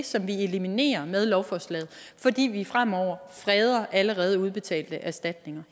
som vi eliminerer med lovforslaget fordi vi fremover freder allerede udbetalte erstatninger